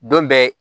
Don bɛɛ